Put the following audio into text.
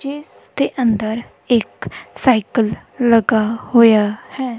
ਜਿੱਸ ਦੇ ਅੰਦਰ ਇੱਕ ਸਾਈਕਲ ਲੱਗਾ ਹੋਇਆ ਹੈ।